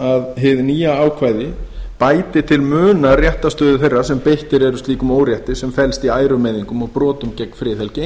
að hið nýja ákvæði bæti til muna réttarstöðu þeirra sem beittir eru slíkum órétti sem felst í ærumeiðingum og brotum gegn friðhelgi